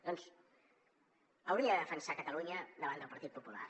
doncs hauria de defensar catalunya davant del partit popular